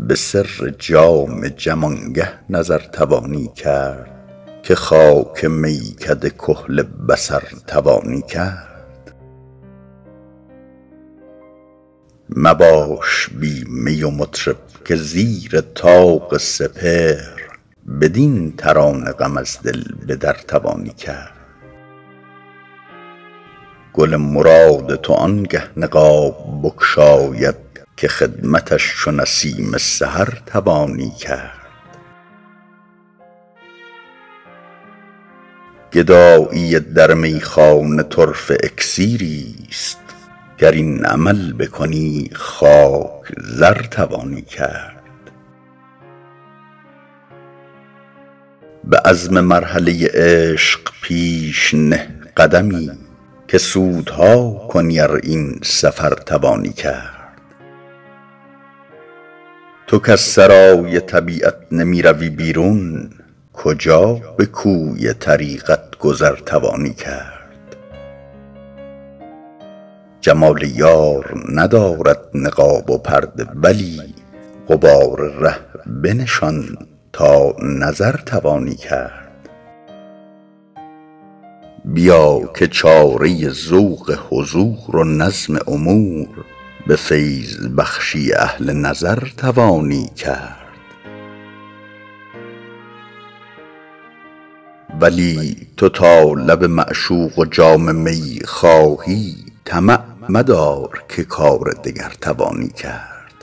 به سر جام جم آنگه نظر توانی کرد که خاک میکده کحل بصر توانی کرد مباش بی می و مطرب که زیر طاق سپهر بدین ترانه غم از دل به در توانی کرد گل مراد تو آنگه نقاب بگشاید که خدمتش چو نسیم سحر توانی کرد گدایی در میخانه طرفه اکسیریست گر این عمل بکنی خاک زر توانی کرد به عزم مرحله عشق پیش نه قدمی که سودها کنی ار این سفر توانی کرد تو کز سرای طبیعت نمی روی بیرون کجا به کوی طریقت گذر توانی کرد جمال یار ندارد نقاب و پرده ولی غبار ره بنشان تا نظر توانی کرد بیا که چاره ذوق حضور و نظم امور به فیض بخشی اهل نظر توانی کرد ولی تو تا لب معشوق و جام می خواهی طمع مدار که کار دگر توانی کرد